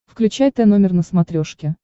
включай тномер на смотрешке